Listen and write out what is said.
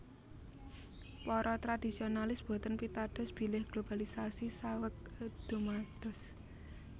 Para tradisionalis boten pitados bilih globalisasi saweg dumados